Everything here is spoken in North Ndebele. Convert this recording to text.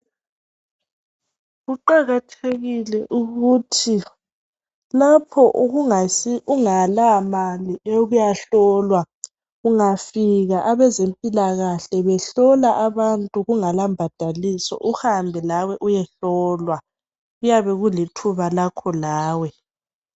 Kuqakathekile ukuthi lapho ungela mali yokuyo hlolwa ungafika abezempilakahle behlola abantu kungela mbadaliso, uhambe lawe uyehlolwa kuyabe kulithuba lakho lawe.